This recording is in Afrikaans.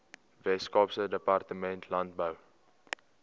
weskaapse departement landbou